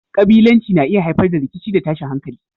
Kabilanci na iya haifar da rikici da tashin hankali.